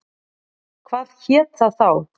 Hvað hét það þá?